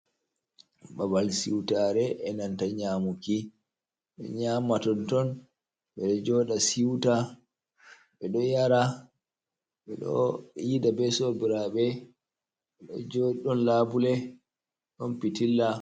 Babal siutare e nanta nyamuki do nyama tonton be do joda siuta be do yara be do yida be sobirabe bedo jdon labule ɗon fitilla.